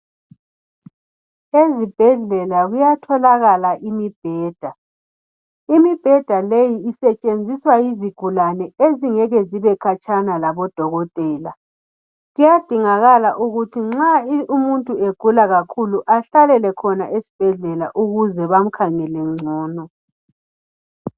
Ezibhedlela kuyatholakala imibheda, imibheda leyi isetshenziswa yizgulane ezingeke zibekhatshana labo dokotela kuyadingakala ukuthi nxa umuntu egula kakhulu ehlalele khona esibhedlela ukuze bamkhangele ngcono